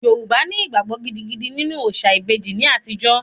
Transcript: Yorùbá ní ìgbàgbọ gidigidi nínú òòṣà ìbejì ní àtijó